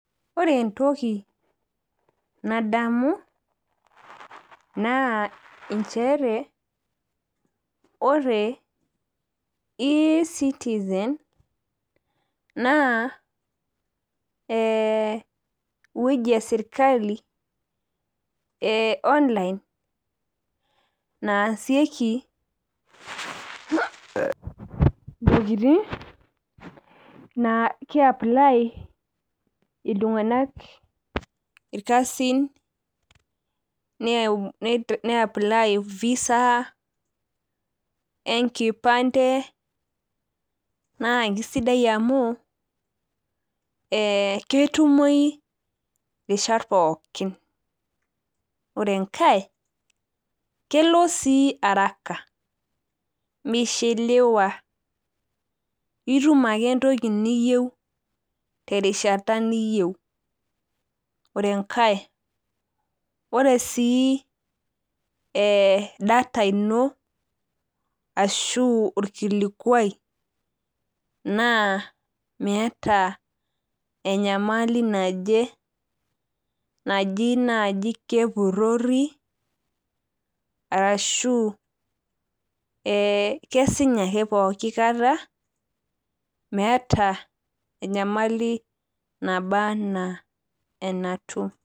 Ore entoki nadamu naa nchere ore ecitizen naa ewueji eonline esirkali naasieki ntokitin naa kiaply iltunganak irkasin ,niaply visa , enkipante , naa sidai amu ketumoyu irishat pookin .Ore enkae , kelo sii araka mishiliwa , itum ake entoki niyieu terishata niyieu . Ore enkae , ore sii data ino ashu orkilikwai naameeta enyamali naje , naji nai kepurori.